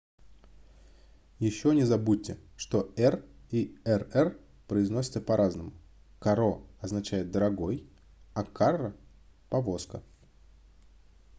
еще не забудьте что r и rr произносятся по-разному caro означает дорогой а carro - повозка